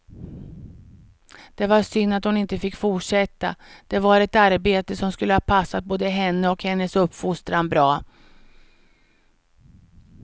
Det var synd att hon inte fick fortsätta, det var ett arbete som skulle ha passat både henne och hennes uppfostran bra.